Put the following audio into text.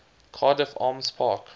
cardiff arms park